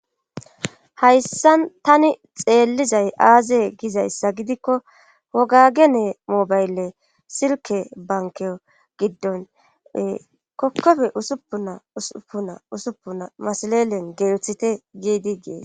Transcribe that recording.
hayssan tani xeellizay aazee gizayssa gidikko wogagenee moobaylle silke banke giddon kokkofe usuppunna usupunna usupuna masalelen geelisithe giidi gee